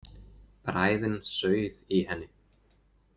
Bræðin sauð í henni.